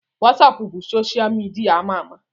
Wasapụ bụ soshal midia ama ama